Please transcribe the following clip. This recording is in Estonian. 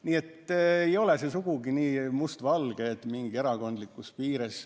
Nii et ei ole see sugugi nii must-valge, et lõhe jookseb mööda erakondlikke piire.